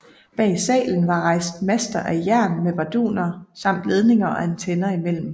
Bag salen var rejst master af jern med barduner samt ledninger og antenner imellem